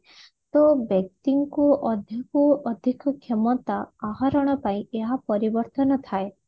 ତ ବ୍ୟକ୍ତି ଙ୍କୁ ଅଧିକ ରୁ ଅଧିକ କ୍ଷମତା ଆହରଣ ପାଇଁ ଏହା ପରିବର୍ତନ ଥାଏ